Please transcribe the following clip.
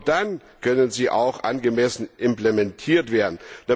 Nur dann können sie auch angemessen implementiert werden.